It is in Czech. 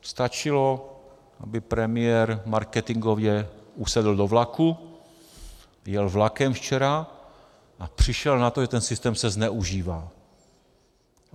Stačilo, aby premiér marketingově usedl do vlaku, jel vlakem včera a přišel na to, že ten systém se zneužívá.